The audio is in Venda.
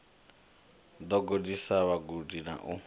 ḓo gudisa vhagudi na u